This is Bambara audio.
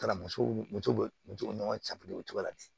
Kalan musow musow bɛ musow ni ɲɔgɔn cɛ o cogo la ten